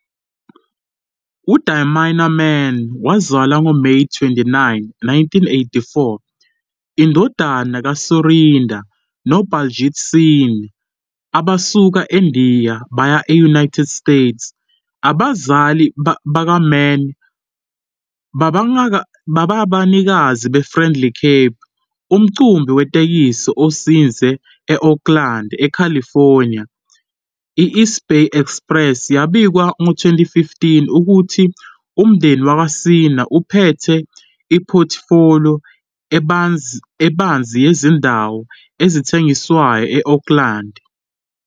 UDharminder Mann wazalwa ngoMeyi 29, 1984, indodana kaSurinder no-Baljit Singh, abasuka eNdiya baya e- United States. Abazali bakaMann bangabanikazi be-Friendly Cab, umqhubi wetekisi ozinze e- Oakland, eCalifornia. I- "East Bay Express" yabika ngo-2015 ukuthi umndeni wakwaSingh "uphethe iphothifoliyo ebanzi yezindawo ezithengiswayo e-Oakland".